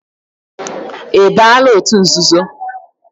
Ị baala òtù nzuzo?